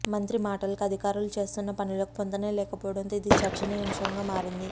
మంత్రి మాటలకు అధికారులు చేస్తున్న పనులకు పొంతనే లేకపోవడంతో ఇది చర్చనీయాంశంగా మారింది